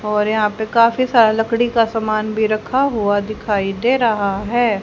और यहां पे काफी सारा लकड़ी का सामान भी रखा हुआ दिखाई दे रहा है।